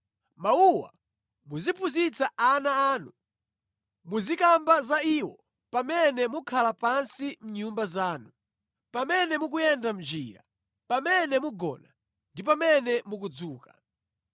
Mawuwa muziphunzitsa ana anu, muzikamba za iwo pamene mukhala pansi mʼnyumba zanu, pamene mukuyenda mʼnjira, pamene mugona ndi pamene mukudzuka.